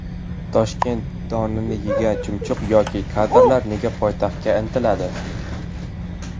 Toshkent donini yegan chumchuq yoki kadrlar nega poytaxtga intiladi?